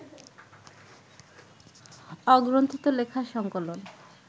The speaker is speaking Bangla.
অগ্রন্থিত লেখার সংকলন